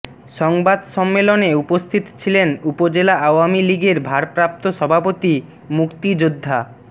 সংবাদ সম্মেলনে উপস্থিত ছিলেন উপজেলা আওয়ামী লীগের ভারপ্রাপ্ত সভাপতি মুক্তিযোদ্ধা ডা